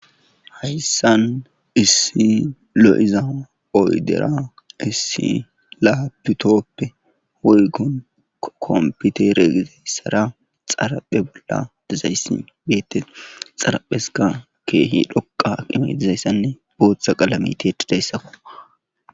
Hayssan issi lo7iza oydera issi laabutoppe oygon kompiteregizayssara xaraphe bolla dizayssi beette xarapheska keehi dhoqa imetizayssanne booththa qalamiteti deyssakko